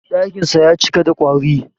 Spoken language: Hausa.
Ɗakinsa ya cike da ƙwari.